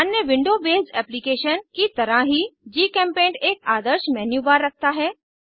अन्य window based application की तरह ही जीचेम्पेंट एक आदर्श मेन्यू बार रखता है